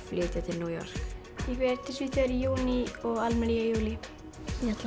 flytja til New York ég fer til Svíþjóðar í júní og Almer í júlí ég ætla